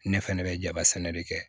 Ne fɛnɛ bɛ jaba sɛnɛ de kɛ